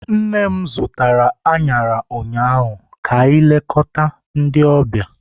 Nne m zụtara añara ụnyaahụ ka ilekota ndi ọbịa.